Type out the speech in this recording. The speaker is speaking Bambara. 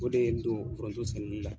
O de ye n don foronto sɛnɛli la.